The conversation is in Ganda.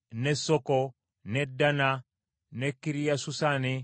ne Danna, ne Kiriasusanna, ye Debiri,